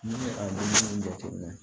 Ni a ye jate minɛ